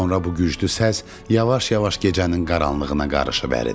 Sonra bu güclü səs yavaş-yavaş gecənin qaranlığına qarışıb əridi.